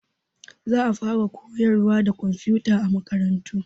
Za a faraa koyarwa da komfuta a makarantu.